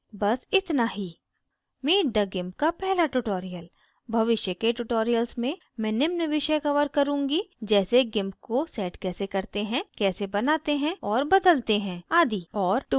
this इतना ही meet the gimp का पहला tutorial भविष्य के tutorials में मैं निम्न विषय cover करुँगी जैसे gimp को set कैसे करते हैं कैसे बनाते और बदलते हैं आदि और tools और बहुत अधिक